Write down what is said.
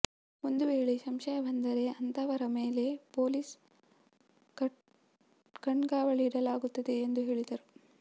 ಒಂದು ವೇಳೆ ಸಂಶಯ ಬಂದರೆ ಅಂತಹವರ ಮೇಲೆ ಪೊಲೀಸ್ ಕಣ್ಗಾವಲಿಡಲಾಗುತ್ತದೆ ಎಂದು ಹೇಳಿದರು